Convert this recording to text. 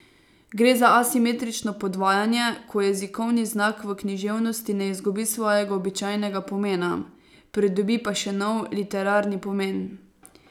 Gre za asimetrično podvajanje, ko jezikovni znak v književnosti ne izgubi svojega običajnega pomena, pridobi pa še nov, literarni pomen.